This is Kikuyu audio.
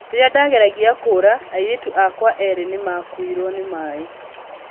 'Rĩrĩa ndageragia kũũra, airĩtu akwa erĩ nĩ maakuirwo nĩ maĩ.